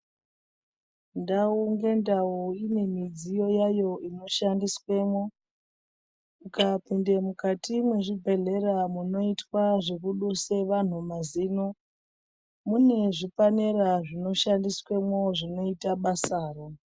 Ndau nendau ine midziyo yayo inoshandiswemwo, ukapinde kukati mwezvibhedhlera munoitwa zvekubiswe vantu mazino. Mune zvipanera zvinoshandiswamwo zvinoite basaro.